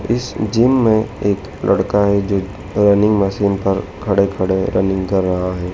इस जिम में एक लड़का है जो रनिंग मशीन पर खड़े खड़े रनिंग कर रहा है।